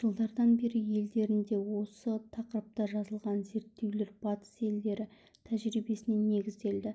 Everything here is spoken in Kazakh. жылдардан бері елдерінде осы тақырыпта жазылған зерттеулер батыс елдері тәжірибесіне негізделді